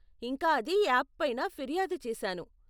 ఇంకా అది యాప్ పైన ఫిర్యాదు చేసాను.